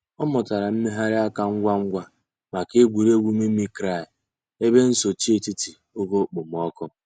Ọ̀ mùtárà mmèghàrì àkà ngwá ngwá mǎká ègwè́régwụ̀ mimicry èbè nsòché ètítì ògè òkpòmọ́kụ̀.